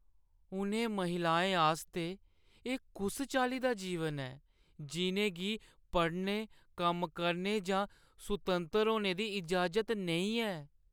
उ'नें महिलाएं आस्तै एह् कुस चाल्ली दा जीवन ऐ जिʼनें गी पढ़ने, कम्म करने जां सुतंतर होने दी इजाज़त नेईं ऐ?